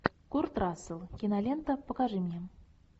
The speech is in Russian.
курт рассел кинолента покажи мне